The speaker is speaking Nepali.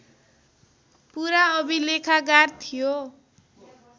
पुरा अभिलेखागार थियो